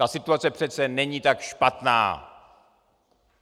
Ta situace přece není tak špatná!